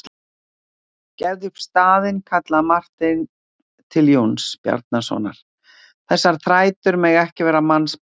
Gefðu upp staðinn, kallaði Marteinn til Jóns Bjarnasonar,-þessar þrætur mega ekki verða mannsbani.